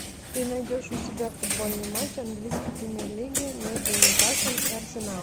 ты найдешь у себя футбольный матч английской премьер лиги между ньюкаслом и арсеналом